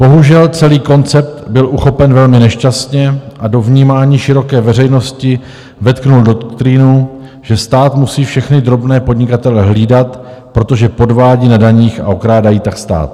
Bohužel, celý koncept byl uchopen velmi nešťastně a do vnímání široké veřejnosti vetkl doktrínu, že stát musí všechny drobné podnikatele hlídat, protože podvádí na daních a okrádají tak stát.